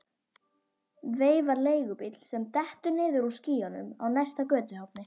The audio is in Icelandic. Veifar leigubíl sem dettur niður úr skýjunum á næsta götuhorni.